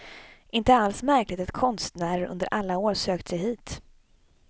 Inte alls märkligt att konstnärer under alla år sökt sig hit.